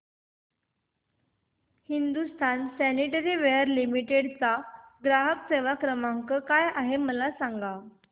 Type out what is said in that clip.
Hindustan sanitaryware limited चा ग्राहक सेवा क्रमांक काय आहे मला सांगा